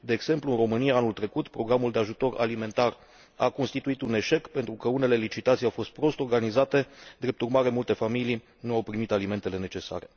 De exemplu, în România, anul trecut, programul de ajutor alimentar a constituit un eșec pentru că unele licitații au fost prost organizate, drept urmare multe familii nu au primit alimentele necesare.